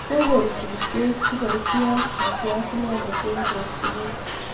Kokon kurset kiporyotiot kitiach inendet eng chokchinet